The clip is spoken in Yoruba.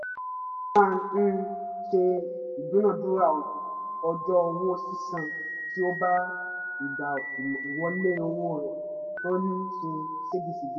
ó máa ń ṣe ìdúnadúrà ọjọ́ owó sísan tí ó bá ìgbà ìwọlé owó rẹ̀ tó ń ṣe ségesège